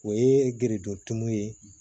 O ye gerejɔ tumu ye